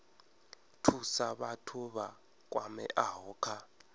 thusa vhathu vha kwameaho kha